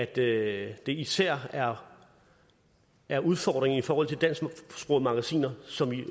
det det især er er udfordringen i forhold til dansksprogede magasiner som vi